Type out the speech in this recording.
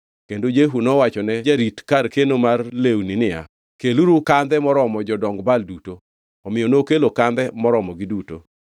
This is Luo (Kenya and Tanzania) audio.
Kendo Jehu nowachone jarit kar keno mar lewni niya, “Keluru kandhe moromo jodong Baal duto.” Omiyo nokelo kandhe moromogi duto.